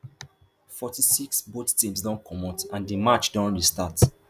forty-six both teams don comot and di match don restart